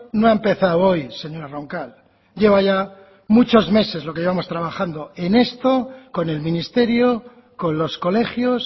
no ha empezado hoy señora roncal lleva ya muchos meses lo que llevamos trabajando en esto con el ministerio con los colegios